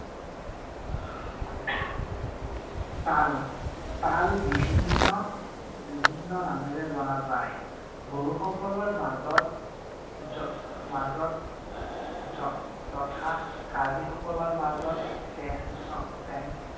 তাল। তাল বিভিন্ন বিভিন্ন নামেৰে জনা যায়। বড়োসকলৰ মাজত মাজত তথা কাৰ্বিসকলৰ মাজত চেং